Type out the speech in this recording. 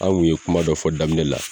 An kun ye kuma dɔ fɔ daminɛ la